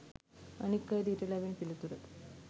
අනික් අයද ඊට ලැබෙන පිළිතුර